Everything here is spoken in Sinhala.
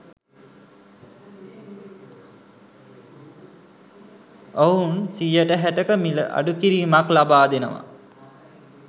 ඔහුන් 60% මිල අඩුකිරීමක් ලබා දෙනවා.